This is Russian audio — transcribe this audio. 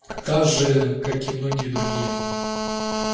также как и многие другие